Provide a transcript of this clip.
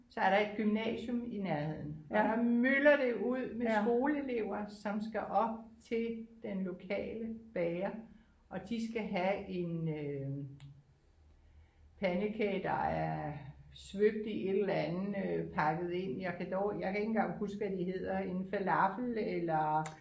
Så er der et gymnasium i nærheden og der myldrer det ud med skoleelever som skal op til den lokale bager og de skal have en øh pandekage der er svøbt i et eller andet øh pakket ind jeg kan dårligt jeg kan ikke engang huske hvad de hedder en falafel eller